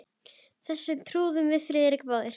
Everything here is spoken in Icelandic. Þessu trúðum við Friðrik báðir.